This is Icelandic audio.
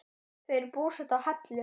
Þau eru búsett á Hellu.